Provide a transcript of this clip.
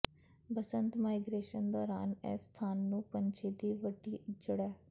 ਬਸੰਤ migration ਦੌਰਾਨ ਇਸ ਸਥਾਨ ਨੂੰ ਪੰਛੀ ਦੀ ਵੱਡੀ ਇੱਜੜ ਹੈ